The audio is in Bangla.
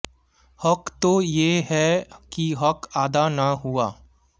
হক তো য়ে হ্যায় কি হক আদা না হুয়া